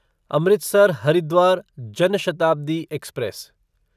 Amritsar Haridwar Jan Shatabdi express